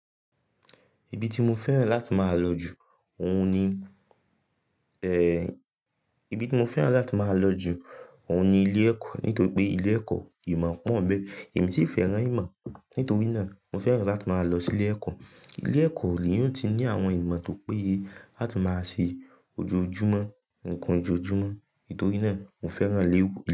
Ibi tí mo fẹ́ràn láti máa lọ jù, òun ni, ẹ, ibi tí mo fẹ́ràn láti máa lọ jù, òun ni ilé ẹ̀kọ́. Nítorí pé ilé ẹ̀kọ́ ìmọ̀ pọ̀ńbẹ. Èmi sì fẹ́ràn ìmọ̀. Nítorí náà mo fẹ́ràn láti máa lọ sí ilé ẹ̀kọ́. Ilé ẹ̀kọ́ le èèyàn oti ní àwọn ìmọ̀ tó péye láti máa ṣe ojoojúmọ́, nǹkan ojoojúmọ́. Nítorí náà mo fẹ́ràn ilé.